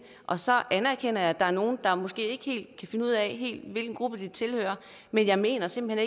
og så anerkender jeg at der er nogle der måske ikke helt kan finde ud af hvilken gruppe de tilhører men jeg mener simpelt